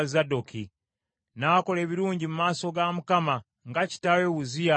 N’akola ebirungi mu maaso ga Mukama , nga kitaawe Uzziya bwe yakola.